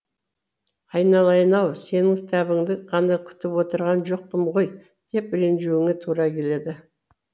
айналайын ау сенің кітабыңды ғана күтіп отырған жоқпын ғой деп ренжуіңе тура келеді